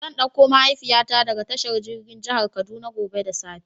Zan ɗauko mahaifiya ta daga tashar jirgin jihar kaduna gobe da safe.